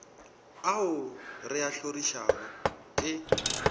ao re a hlorišago ke